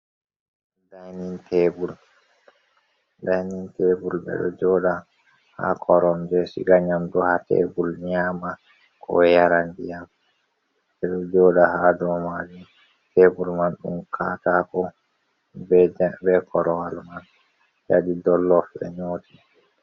Ɗainin tebul. Dainin tebul be ɗo joɗa ha korombe siga nyamɗu ha tebul nyama, ko yara ndiyam. Be ɗo joɗa ha ɗow majin. Tebul man dum katako be korowal man yaɗi ɗollof be nyoti.